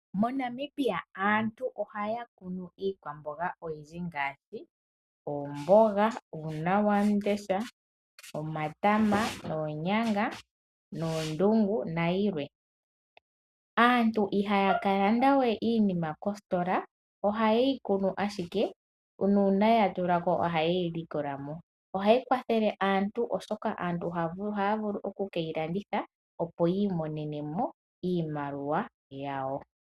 MoNamibia aantu ohaya kunu iikwamboga oyindji ngaashi: oomboga, uuna wandesha, omatama, oonyanga, oondungu niikwawo oyindji. Aantu ihaya ka landa we iinima mbika koositola oshoka oha ye yi kunu ashike miikunino yawo nongele ya tula ko nawa ohaya vulu oku kiyi landitha po opo ya mone mo iimaliwa yawo.